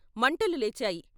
మంటలు లేచాయి.